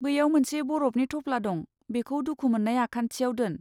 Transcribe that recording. बैयाव मोनसे बरफनि थफ्ला दं, बेखौ दुखु मोननाय आखान्थिआव दोन।